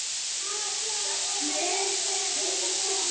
Mun þeirra tími koma?